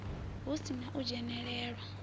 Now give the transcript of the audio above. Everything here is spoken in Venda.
hu si na u dzhenelelwa